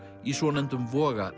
í svonefndum